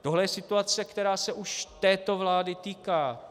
Tohle je situace, která se už této vlády týká.